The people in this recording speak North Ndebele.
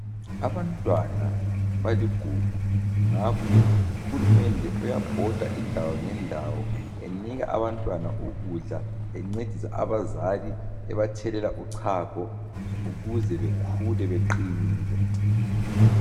Abantwana baligugu ngakho ke uhulumende uyabhoda indawo ngendawo enika abantwana ukudla encedisa abazali ebathelela uchago ukuze bekhule beqinile.